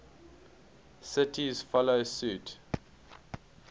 cities follow suit